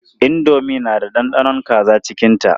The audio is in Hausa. Indomi na da ɗanɗanon kaza cikinta.